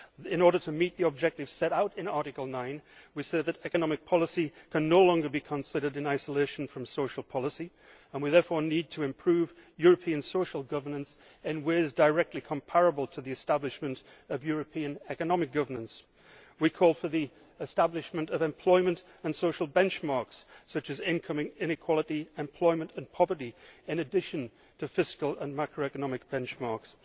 In order to meet the objectives set out in Article 9, we say that economic policy can no longer be considered in isolation from social policy and we therefore need to improve European social governance in ways directly comparable to the establishment of European economic governance. We call for the establishment of employment and social benchmarks, such as incoming inequality, employment and poverty, in addition to fiscal and macroeconomic benchmarks.